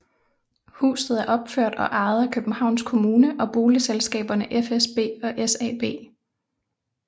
Huset er opført og ejet af Københavns Kommune og boligselskaberne fsb og SAB